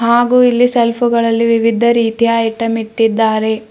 ಹಾಗು ಇಲ್ಲಿ ಸೆಲ್ಫುಗಳಲ್ಲಿ ವಿವಿಧ ರೀತಿಯ ಐಟಂ ಇಟ್ಟಿದ್ದಾರೆ.